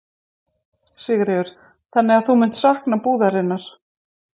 Sigríður: Þannig þú munt sakna búðarinnar?